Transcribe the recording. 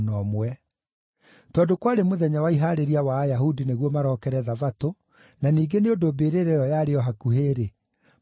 Tondũ kwarĩ mũthenya wa Ihaarĩria wa Ayahudi nĩguo marokere Thabatũ, na ningĩ nĩ ũndũ mbĩrĩra ĩyo yarĩ o hakuhĩ-rĩ, makĩiga Jesũ ho.